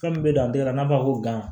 Fɛn min bɛ don a da la n'a b'a fɔ ko